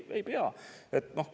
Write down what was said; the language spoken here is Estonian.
Ei pea!